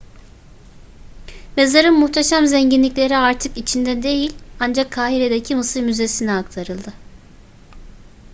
mezarın muhteşem zenginlikleri artık içinde değil ancak kahire'deki mısır müzesi'ne aktarıldı